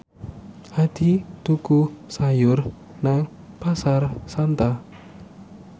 Hadi tuku sayur nang Pasar Santa